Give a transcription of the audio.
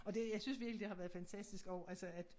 Og det jeg synes virkelig det har været fantistisk også altså at